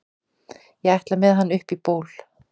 ég ætla með hann upp í ból